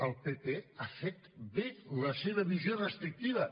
el pp ha fet bé la seva visió restrictiva